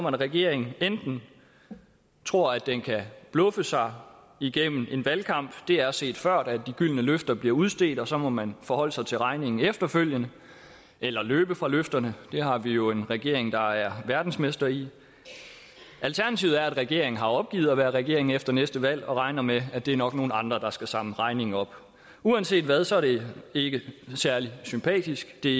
at regeringen tror at den kan bluffe sig igennem en valgkamp det er set før at de gyldne løfter bliver udstedt og så må man forholde sig til regningen efterfølgende eller løbe fra løfterne det har vi jo en regering der er verdensmester i alternativet er at regeringen har opgivet at være regering efter næste valg og regner med at det nok er nogle andre der skal samle regningen op uanset hvad er det ikke særlig sympatisk det